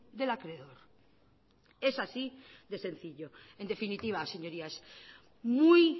del acreedor es así de sencillo en definitiva señorías muy